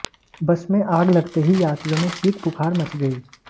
बस में आग लगते ही यात्रियों में चीखपुकार मच गई